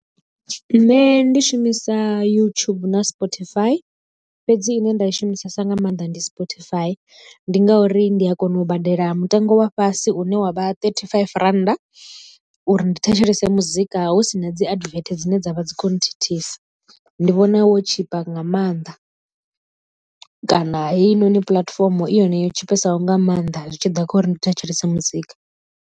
Nṋe ndi shumisa YouTube na Spotify fhedzi ine nda i shumisesa nga maanḓa ndi Spotify ndi ngauri ndi a kona u badela mutengo wa fhasi une wavha thirty five rand uri ndi thetshelese muzika hu sina dzi advert dzine dzavha dzi kho nthithisa ndi vhona wo tshipa nga maanḓa kana heinoni puḽatifomo i yone yo tshipesaho nga maanḓa zwi tshi ḓa kha uri ndi thetshelese muzika.